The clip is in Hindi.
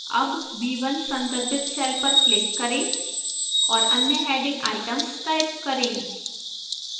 अब b1 संदर्भित cell पर click करें और अन्य heading items type करें